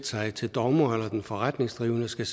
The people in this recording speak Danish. sig til dommer eller at den forretningsdrivende skal